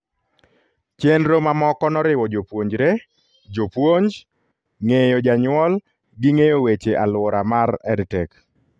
Chenro mamoko noriwo japuonjre, japuonj, ng'eyo janyuol gi ng'eyo weche aluora mar EdTech